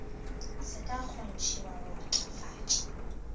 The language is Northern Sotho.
se ka kgontshiwa go matlafatsa